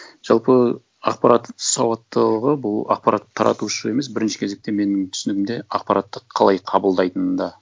жалпы ақпарат сауаттылығы бұл ақпарат таратушы емес бірінші кезекте менің түсінігімде ақпаратты қалай қабылдайтынында